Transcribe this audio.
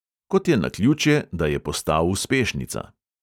Kot je naključje, da je postal uspešnica.